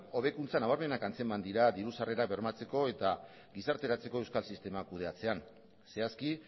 hobekuntza nabarmenak antzeman dira diru sarrera bermatzeko eta gizarteratzeko euskal sistema kudeatzean zehazki